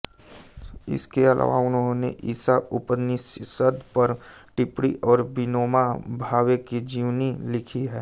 इसके अलावा उन्होंने ईशा उपनिशद पर टिप्पणी और विनोबा भावे की जीवनी लिखी है